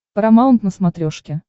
парамаунт на смотрешке